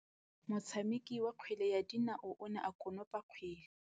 Motshameki wa kgwele ya dinaô o ne a konopa kgwele.